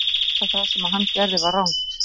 Hann veit að það sem hann gerði var rangt.